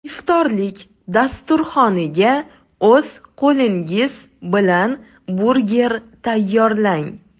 Iftorlik dasturxoniga o‘z qo‘lingiz bilan burger tayyorlang.